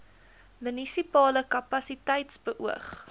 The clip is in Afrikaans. munisipale kapasiteit beoog